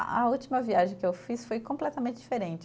A a última viagem que eu fiz foi completamente diferente.